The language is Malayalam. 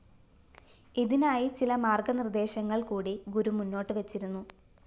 ഇതിനായി ചില മാര്‍ഗ്ഗ നിര്‍ദ്ദേശങ്ങള്‍ കൂടി ഗുരു മുന്നോട്ട് വച്ചിരുന്നു